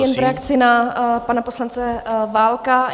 Jen v reakci na pana poslance Válka.